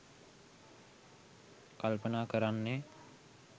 කල්පනා කරන්නේ.